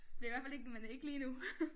Det i hvert fald ikke men ikke lige nu